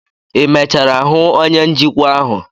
ị emechara hụ onye njikwa ahụ?